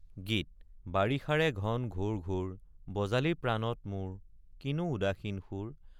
গীত বাৰিষাৰে ঘন ঘোৰ ঘোৰ বজালি প্ৰাণত মোৰ কিনো উদাসীন সুৰ?